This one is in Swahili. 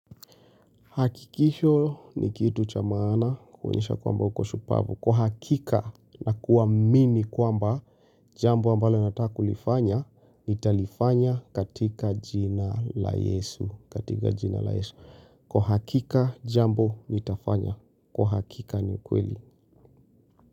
Hakikisho ni kitu cha maana kounyesha kwamba uko shupavu. Kwa hakika na kuwamini kwamba jambo ambalo nataka kulifanya nitalifanya katika jina la yesu. Kwa hakika jambo nitafanya. Kwa hakika ni kweli.